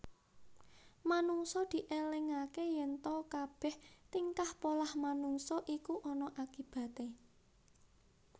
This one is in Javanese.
Manungsa dielingaké yènta kabèh tingkah polah manungsa iku ana akibaté